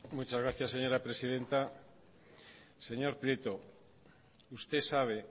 muchas gracias señora presidenta señor prieto usted sabe